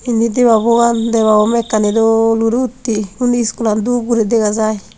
unni debabo an debabo mekkani dol guri utte unni skul an dup guri dega jai.